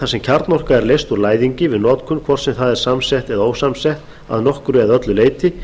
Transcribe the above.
þar sem kjarnorka er leyst úr læðingi við notkun hvort sem það er samsett eða ósamsett að nokkru eða öllu leyti